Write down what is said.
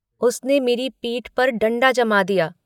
उसने मेरी पीठ पर डण्डा जमा दिया।